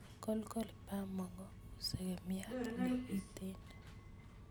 Kolkol bamongo u segemiat nekiten